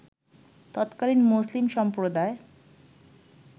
তৎকালীন মুসলিম সম্প্রদায়